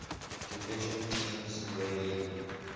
division teams rarely